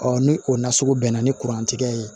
ni o nasugu bɛnna ni kurantigɛ ye